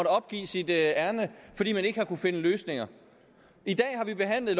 opgive sit ærinde fordi man ikke har kunnet finde løsninger i dag har vi behandlet